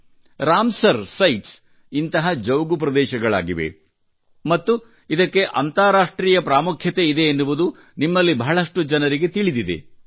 Ramsar Ramsar sites ಇಂತಹ ಜೌಗು ಪ್ರದೇಶಗಳಾಗಿವೆ ಮತ್ತು ಇದಕ್ಕೆ ಅಂತಾರಾಷ್ಟ್ರೀಯ ಪ್ರಾಮುಖ್ಯ ಇದೆ ಎನ್ನುವುದು ನಿಮ್ಮಲ್ಲಿ ಬಹಳಷ್ಟು ಜನರಿಗೆ ತಿಳಿದಿದೆ